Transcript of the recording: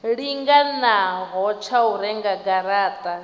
linganaho tsha u renga garata